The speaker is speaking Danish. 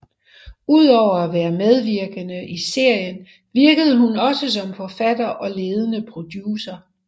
Udover at være medvirkende i serien virkede hun også som forfatter og ledende producer